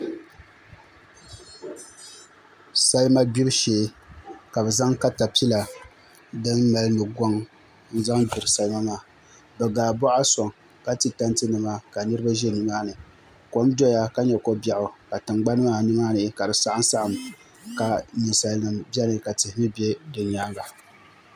Salima gbibu shee ka bi zaŋ katapila din mali nugoŋ n zaŋ gbiri salima maa bi gaa boɣa soŋ ka ti tanti nima ka niraba ʒi nimaani kom doya ka nyɛ ko biɛɣu ka tingbanni maa nimaani ka di saɣam saɣam ka ninsal nim biɛni ka tihi mii bɛ di nyaanga